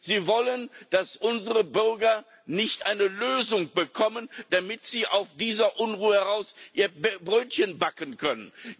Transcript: Sie wollen nicht, dass unsere Bürger eine Lösung bekommen, damit sie aus dieser Unruhe heraus ihre Brötchen backen können.